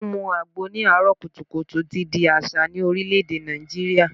Mímu àgbo ní àáárò kùtùkùtù ti di àṣà ní Orílè-èdè Nàìjíríà